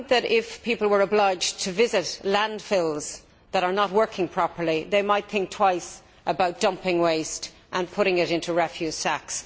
If people were obliged to visit landfills that were not working properly, they might think twice about dumping waste and putting it into refuse sacks.